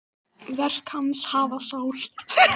Verk hans hafa sál.